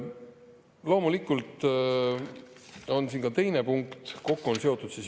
Loomulikult on siin ka teine punkt.